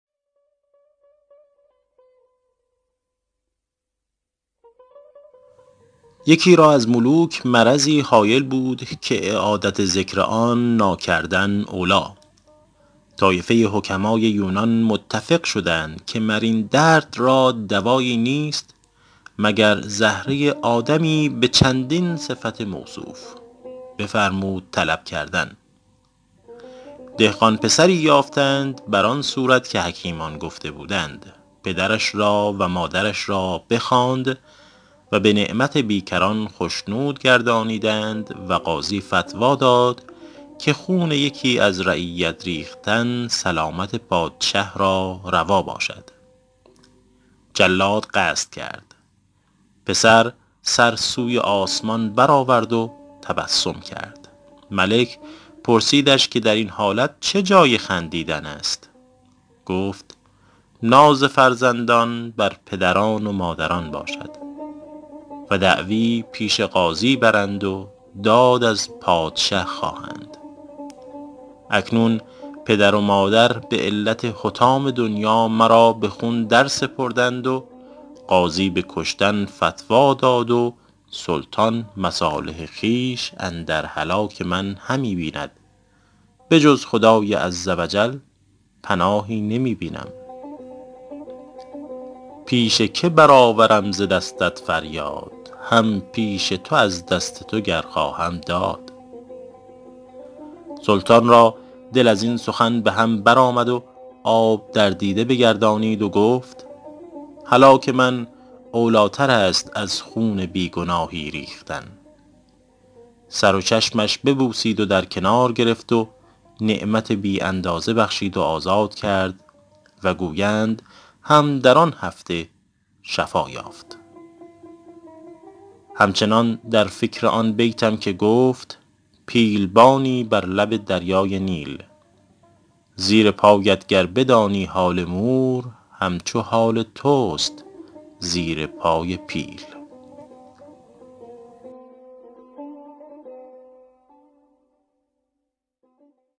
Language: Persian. یکی را از ملوک مرضی هایل بود که اعادت ذکر آن ناکردن اولیٰ طایفه حکمای یونان متفق شدند که مر این درد را دوایی نیست مگر زهره آدمی به چندین صفت موصوف بفرمود طلب کردن دهقان پسری یافتند بر آن صورت که حکیمان گفته بودند پدرش را و مادرش را بخواند و به نعمت بیکران خشنود گردانیدند و قاضی فتویٰ داد که خون یکی از رعیت ریختن سلامت پادشه را روا باشد جلاد قصد کرد پسر سر سوی آسمان بر آورد و تبسم کرد ملک پرسیدش که در این حالت چه جای خندیدن است گفت ناز فرزندان بر پدران و مادران باشد و دعوی پیش قاضی برند و داد از پادشه خواهند اکنون پدر و مادر به علت حطام دنیا مرا به خون درسپردند و قاضی به کشتن فتویٰ داد و سلطان مصالح خویش اندر هلاک من همی بیند به جز خدای عزوجل پناهی نمی بینم پیش که بر آورم ز دستت فریاد هم پیش تو از دست تو گر خواهم داد سلطان را دل از این سخن به هم بر آمد و آب در دیده بگردانید و گفت هلاک من اولیٰ تر است از خون بی گناهی ریختن سر و چشمش ببوسید و در کنار گرفت و نعمت بی اندازه بخشید و آزاد کرد و گویند هم در آن هفته شفا یافت هم چنان در فکر آن بیتم که گفت پیل بانی بر لب دریای نیل زیر پایت گر بدانی حال مور هم چو حال توست زیر پای پیل